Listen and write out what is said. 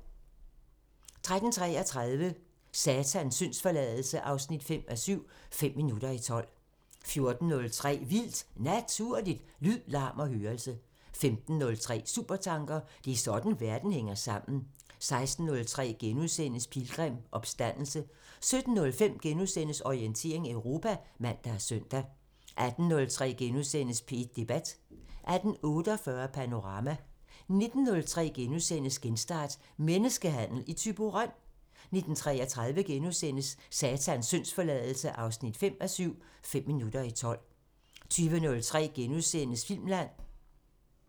13:33: Satans syndsforladelse 5:7 – Fem minutter i tolv 14:03: Vildt Naturligt: Lyd, larm og hørelse 15:03: Supertanker: Det er sådan verden hænger sammen 16:03: Pilgrim – Opstandelse * 17:05: Orientering Europa *(man og søn) 18:03: P1 Debat * 18:48: Panorama 19:03: Genstart: Menneskehandel i Thyborøn? * 19:33: Satans syndsforladelse 5:7 – Fem minutter i tolv * 20:03: Filmland *(man)